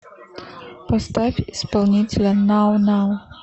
поставь исполнителя нау нау